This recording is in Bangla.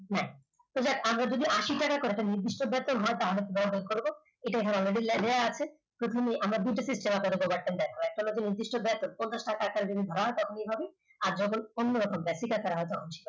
আমাদের যদি আশি টাকা করে একটা নির্দিষ্ট বেতন হয় তাহলে আমরা করব এখানে আমাদের আছে প্রথমেই আমরা কোনটা নির্দিষ্ট বেতন আর যখন অন্যরকম ভাবে